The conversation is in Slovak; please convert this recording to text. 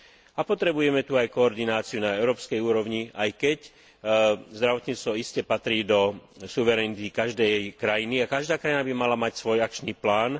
A potrebujeme tu aj koordináciu na európskej úrovni, aj keď zdravotníctvo iste patrí do suverenity každej krajiny a každá krajina by mala mať svoj akčný plán.